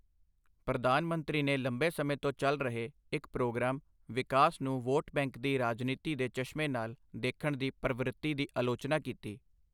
ਪ੍ਰਧਾਨ ਮੰਤਰੀ ਨੇ ਲੰਬੇ ਸਮੇਂ ਤੋਂ ਚੱਲ ਰਹੇ, ਇੱਕ ਪ੍ਰੋਗਰਾਮ ਵਿਕਾਸ ਨੂੰ ਵੋਟ ਬੈਂਕ ਦੀ ਰਾਜਨੀਤੀ ਦੇ ਚਸ਼ਮੇ ਨਾਲ ਦੇਖਣ ਦੀ ਪ੍ਰਵ੍ਰਤੀ ਦੀ ਆਲੋਚਨਾ ਕੀਤੀ।